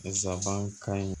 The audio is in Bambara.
Nsabankan in